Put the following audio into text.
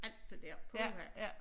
Alt det dér puha